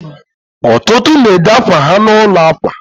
ọtụtụ na-ede akwa ha n'ụlọ akwa